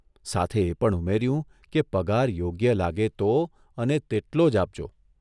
સાથે એ પણ ઉમેર્યું કે પગાર યોગ્ય લાગે તો અને તેટલો જ આપજો.